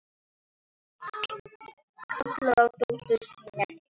Kallar á dóttur sína inn.